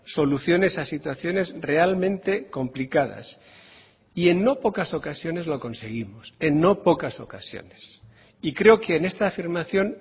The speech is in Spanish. soluciones a situaciones realmente complicadas y en no pocas ocasiones lo conseguimos en no pocas ocasiones y creo que en esta afirmación